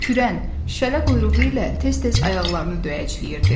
Kürən, şələ quyruğu ilə tez-tez ayaqlarını döyəcləyirdi.